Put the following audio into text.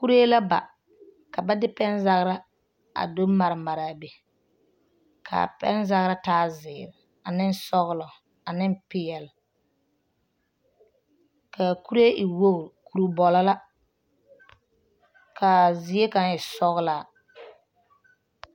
Kuree la ba ka ba de pɛnzagra a do mare mare a be k,a pɛnzagra taa zeere ane sɔglɔ ane peɛle k,a kuree e wogri kuribɔlɔ la k,a zie kaŋ e sɔglaa.